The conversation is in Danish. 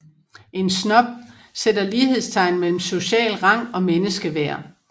En snob sætter lighedstegn mellem social rang og menneskeværd